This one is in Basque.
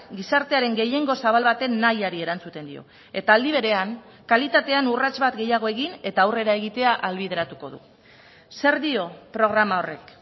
gizartearen gehiengo zabal baten nahiari erantzuten dio eta aldi berean kalitatean urrats bat gehiago egin eta aurrera egitea ahalbideratuko du zer dio programa horrek